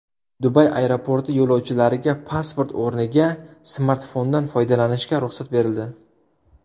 Dubay aeroporti yo‘lovchilariga pasport o‘rniga smartfondan foydalanishga ruxsat berildi.